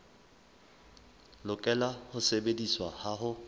lokela ho sebediswa ha ho